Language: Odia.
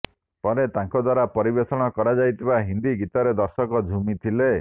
ପରେ ତାଙ୍କ ଦ୍ୱାରା ପରିବେଷଣ କରାଯାଇଥିବା ହିନ୍ଦୀ ଗୀତରେ ଦର୍ଶକ ଝୁମିଥିଲେ